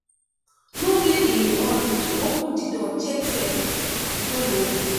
no dey in a hurry to open di door check first before you open